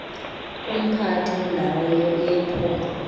kumphathi wendawo yephondo